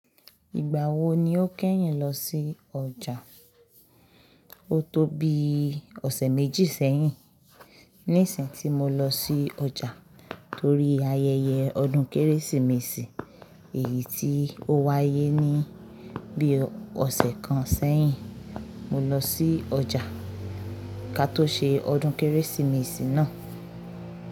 Ìgbà wo ni o kẹ́yìn lọ sí ọjà? O tó bi ọ̀sẹ̀ méjì sẹ́yìn ní ìsìn tí mo lọ sí ọjà torí ayẹyẹ ọdún Kérésìmesì èyí tí ó wáyé ní bí ọ̀sẹ̀ kan sẹ́yìn. Mo lọ sí ọjà ká tó ṣe ọdún Kérésìmesì náà.